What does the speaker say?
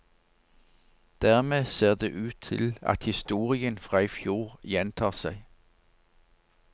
Dermed ser det ut til at historien fra i fjor gjentar seg.